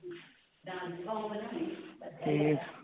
ਠੀਕ